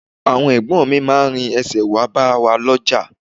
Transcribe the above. Àwọn Ẹ̀gbọ́n mi máa rin ẹsẹ̀ wá bá wa lọ́jà